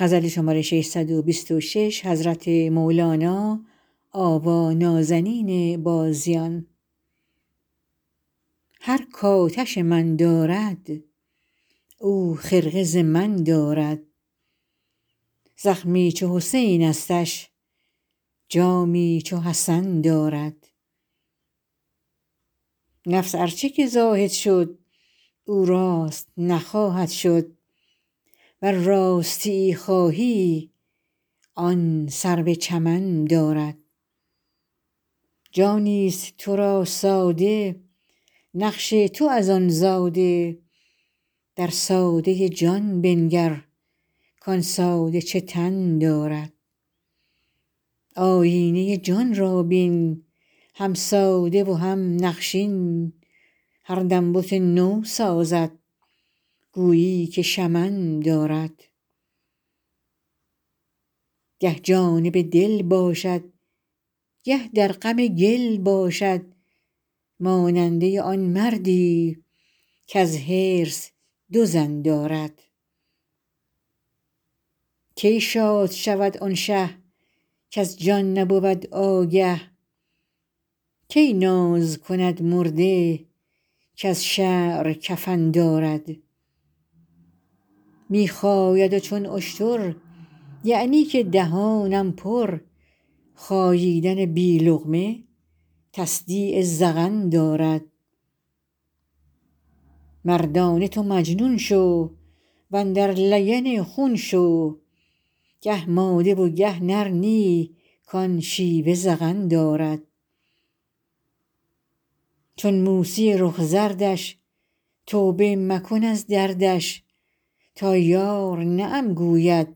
هر کآتش من دارد او خرقه ز من دارد زخمی چو حسینستش جامی چو حسن دارد نفس ار چه که زاهد شد او راست نخواهد شد ور راستیی خواهی آن سرو چمن دارد جانیست تو را ساده نقش تو از آن زاده در ساده جان بنگر کان ساده چه تن دارد آیینه جان را بین هم ساده و هم نقشین هر دم بت نو سازد گویی که شمن دارد گه جانب دل باشد گه در غم گل باشد ماننده آن مردی کز حرص دو زن دارد کی شاد شود آن شه کز جان نبود آگه کی ناز کند مرده کز شعر کفن دارد می خاید چون اشتر یعنی که دهانم پر خاییدن بی لقمه تصدیق ذقن دارد مردانه تو مجنون شو و اندر لگن خون شو گه ماده و گه نر نی کان شیوه زغن دارد چون موسی رخ زردش توبه مکن از دردش تا یار نعم گوید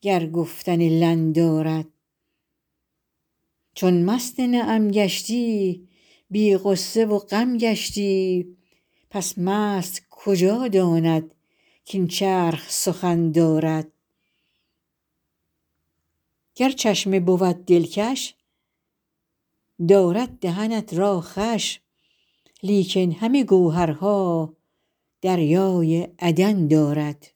گر گفتن لن دارد چون مست نعم گشتی بی غصه و غم گشتی پس مست کجا داند کاین چرخ سخن دارد گر چشمه بود دلکش دارد دهنت را خوش لیکن همه گوهرها دریای عدن دارد